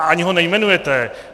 A ani ho nejmenujete.